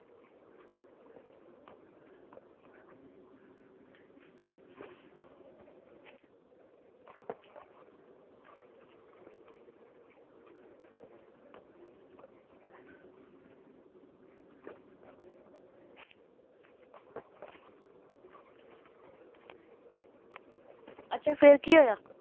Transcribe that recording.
ਅੱਛਾ ਫਿਰ ਕੀ ਹੋਇਆ?